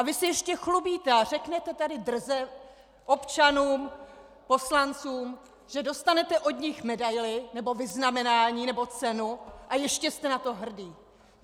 A vy se ještě chlubíte a řeknete tady drze občanům, poslancům, že dostanete od nich medaili nebo vyznamenání nebo cenu, a ještě jste na to hrdý.